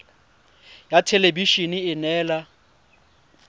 ya thelebi ene e neela